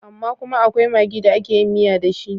Amma kuma akwai magi da ake yin miya da shi.